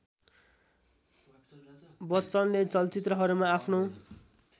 बच्चनले चलचित्रहरूमा आफ्नो